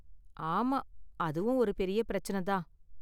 ஆமா அதுவும் ஒரு பெரிய பிரச்சனை தான்